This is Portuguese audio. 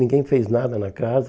Ninguém fez nada na casa.